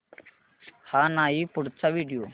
हा नाही पुढचा व्हिडिओ